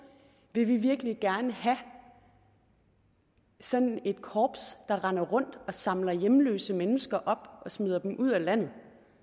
vil vi virkelig gerne have sådan et korps der render rundt og samler hjemløse mennesker op og smider dem ud af landet